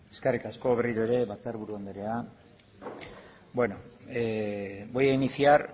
eskerrik asko berriro ere batzarburu anderea voy a iniciar